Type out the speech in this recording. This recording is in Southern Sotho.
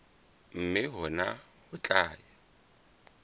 mme hona ho tla ya